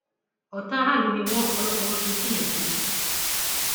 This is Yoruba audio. ọtá aráàlú ni wọn ọpọlọpọ wọn kì í ṣèèyàn gidi